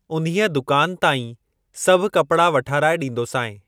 उन्हीअ दुकान तां ई सभु कपड़ा वठाराए ॾींदोसांइ।